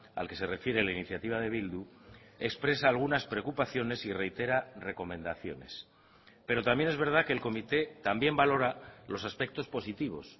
al que se refiere la iniciativa de bildu expresa algunas preocupaciones y reitera recomendaciones pero también es verdad que el comité también valora los aspectos positivos